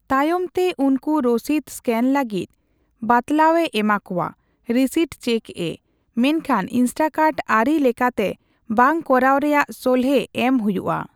ᱛᱟᱭᱚᱢᱛᱮ ᱩᱱᱠᱩ ᱨᱚᱥᱤᱫ ᱥᱠᱟᱱ ᱞᱟᱹᱜᱤᱫ ᱵᱟᱛᱞᱟᱣ ᱮ ᱮᱢᱟ ᱠᱚᱣᱟ (ᱨᱤᱥᱤᱴ ᱪᱮᱠᱼᱮ), ᱢᱮᱱᱠᱷᱟᱱ ᱤᱱᱥᱴᱟᱠᱟᱨᱴ ᱟᱹᱨᱤ ᱞᱮᱠᱟᱛᱮ ᱵᱟᱝ ᱠᱚᱨᱟᱣ ᱨᱮᱭᱟᱜ ᱥᱚᱞᱦᱮ ᱮᱢ ᱦᱩᱭᱩᱜᱼᱟ᱾